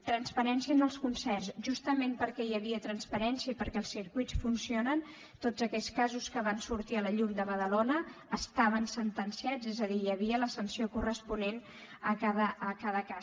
transparència en els concerts justament perquè hi havia transparència i perquè els circuits funcionen tots aquests casos que van sortir a la llum de badalona estaven sentenciats és a dir hi havia la sanció corresponent a cada cas